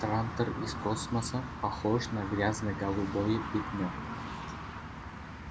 трантор из космоса похож на грязно-голубое пятно